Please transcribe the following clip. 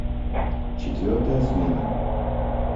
четвертая смена